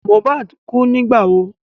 Mohbad kú nígbà wo?